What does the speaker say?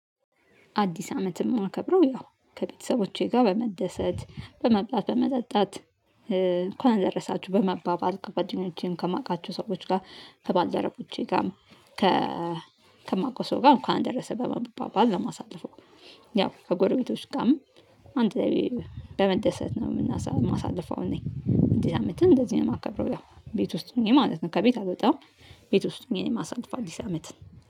አዲስ አመትን የማከብረው ያው ከቤተሰቦቼ ጋር በመደሰት በመብላት በመጠጣት እንኳን ደረሳችሁ በመባባል ከጓደኞቼም ከማውቃቸው ሰዎች ጋር ከባልድረቦቼ ጋር ከ ከማውቀው ሰው ጋር እንኳን አደረሰ በመባባል ነው። ለማሳለፈው ያው ከጎርቤቶች ጋርም አንድ ላይ በመደሰት ነው የማሳልፈው። እኔ እንዲስ አመትን እንደዚህ ነው የማከብረው ያው ቤት ውስጥ ሆኜ ማለት ነው ከቤት አልወጣም። ቤት ውስጥ ሆኜ ነው የማሳለፈው አንዲስ አመትን